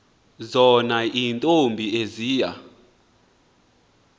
zona iintombi eziya